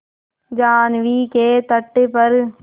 जाह्नवी के तट पर